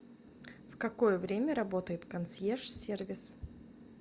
в какое время работает консьерж сервис